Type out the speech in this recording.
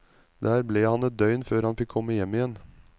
Der ble han et døgn før han fikk komme hjem igjen.